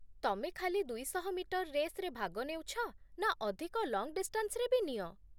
ତମେ ଖାଲି ଦୁଇଶହ ମିଟର ରେସ୍‌ରେ ଭାଗ ନେଉଛ ନା ଅଧିକ ଲଙ୍ଗ୍ ଡିଷ୍ଟାନ୍ସରେ ବି ନିଅ?